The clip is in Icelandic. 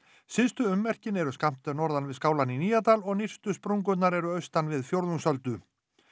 syðstu ummerkin eru skammt norðan við skálann í Nýjadal og nyrstu sprungurnar eru austan við Fjórðungsöldu